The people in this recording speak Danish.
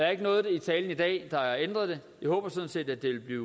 er ikke noget i talen i dag der har ændret det jeg håber sådan set at det vil blive